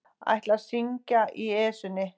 Ætla að syngja í Esjunni